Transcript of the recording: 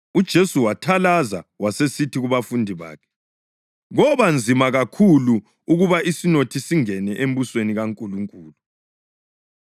UJesu wathalaza wasesithi kubafundi bakhe, “Koba nzima kakhulu ukuthi isinothi singene embusweni kaNkulunkulu!”